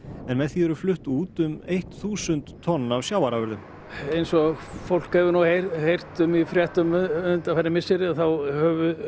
en með því eru flutt út um eitt þúsund tonn af sjávarafurðum eins og fólk hefur nú heyrt um í fréttum undanfarin misseri þá hefur